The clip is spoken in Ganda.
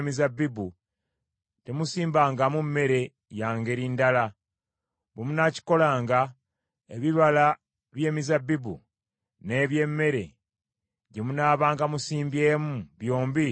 Ente n’endogoyi temuzigattanga wamu ne muzisibanga ku kikoligo kye kimu eky’ekyuma kye munaabanga mulimisa.